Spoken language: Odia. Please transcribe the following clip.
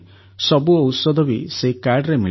ସବୁ ଔଷଧ ବି ସେହି କାର୍ଡ଼ରେ ମିଳିଗଲା